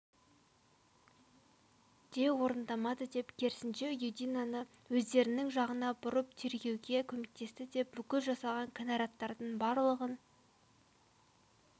де орындамады деп керісінше юдинаны өздерінің жағына бұрып тергеуге көмектесті деп бүкіл жасаған кінәраттардың барлығын